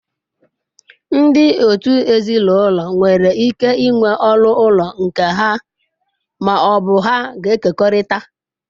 Ndị òtù ezinụlọ nwere ike ịnwe ọnụ ụlọ nke ha ma ọ bụ ha ga-ekekọrịta.